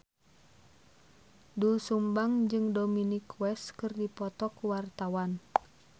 Doel Sumbang jeung Dominic West keur dipoto ku wartawan